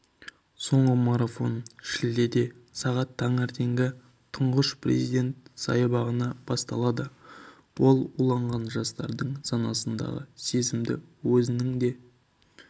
соңғы марафон шілдеде сағат таңертеңгі тұңғыш президент саябағынан басталады ол уланған жастардың санасындағы сезімді өзінің де